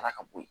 Taara ka bɔ yen